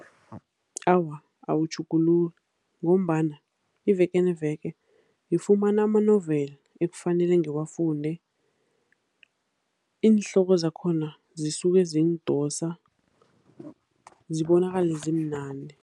Awa, awutjhuguluki ngombana iveke neveke ngifumana ama-novel ekufanele ngiwafunde. Iinhloko zakhona zisuke zingidosa, zibonakale zimnandi.